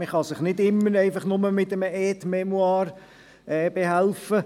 Man kann sich nicht immer bloss mit einem Aide-mémoire behelfen.